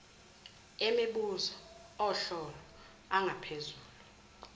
emibuzo ohlolo angaphezulu